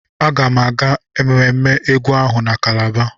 Aga m aga ememme egwu ahụ na Kalaba.